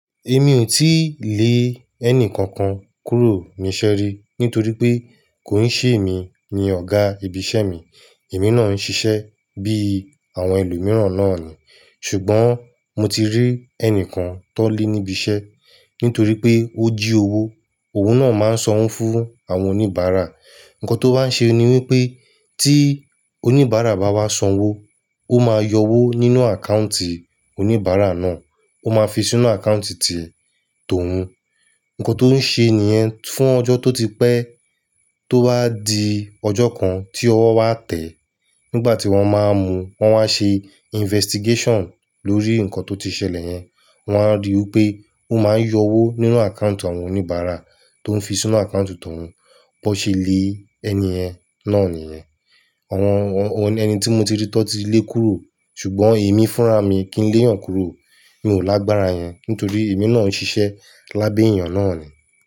Èmi ò tíì lé ẹni kankan kúrò ní iṣẹ́ rí nítorí pé kò ń ṣe èmi ni ọ̀gá ibi iṣẹ́ mi. Èmi náà ń ṣiṣẹ́ bí àwọn ẹlòmíràn náà ni. Ṣùgbọ́n mo ti rí ẹnìkan tọ́ lé níbi iṣẹ́ nítorí pé ó jí owó. Oun náà máa ń sọnwo fun àwọn oníbàárà. Ǹkan tó bá ṣe ni wípé tí oníbàárà bá wá san owó, ó máa yọ owó nínú àkántì oníbàárà náà, ó máa fi sínú àkántì ti tòun. Ǹkan tó ń ṣe ènìyẹn fún ọjọ́ tó ti pẹ́ tó bá di ọjọ́ kan tí ọwọ́ wá tẹ̀ nígbà tí wọ́n máa ń mu wọ́n wá ṣe investigation lórí nǹkan tó ti ṣẹlẹ̀ yẹn wọ́n á rí wi pé ó máa ń yọ owó nínú àkántì àwọn oníbàárà tó ń fi sínú àkántì tòun. Ó ṣe lé ẹni yẹn náà nìyẹn. Àwọn ẹni tí mo ti rí tọ́ ti lé kúrò ṣùgbọ́n èmi fúnra mi kí ń léyàn kúrò. Mi ò lágbára yẹn nítorí èmi náà ń ṣiṣẹ́ lábẹ́ èèyàn náà ni.